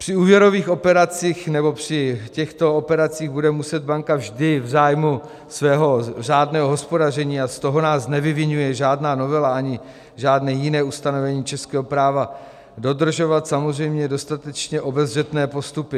Při úvěrových operacích nebo při těchto operacích bude muset banka vždy v zájmu svého řádného hospodaření - a z toho nás nevyviňuje žádná novela ani žádné jiné ustanovení českého práva - dodržovat samozřejmě dostatečně obezřetné postupy.